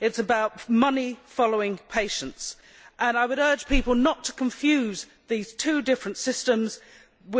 It is about money following patients' choices, and I would urge people not to confuse the two different systems,